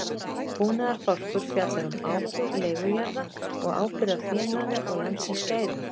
Búnaðarbálkur fjallar um ábúð leigujarða og ábyrgð á fénaði og landsins gæðum.